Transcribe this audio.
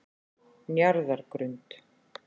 Njarðargrund